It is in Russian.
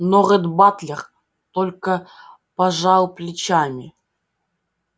но ретт батлер только пожал плечами